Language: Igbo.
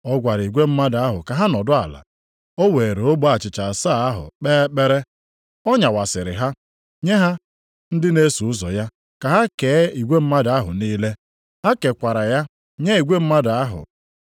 Ọ gwara igwe mmadụ ahụ ka ha nọdụ ala. O weere ogbe achịcha asaa ahụ kpee ekpere. Ọ nyawasịrị ha, nye ha ndị na-eso ụzọ ya ka ha kee igwe mmadụ ahụ niile. Ha kekwara ya nye igwe mmadụ ahụ.